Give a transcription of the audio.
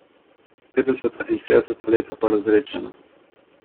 Petdeseta in šestdeseta leta pa razredčena.